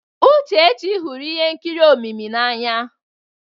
Uchechi hụrụ ihe nkiri omimi n'anya.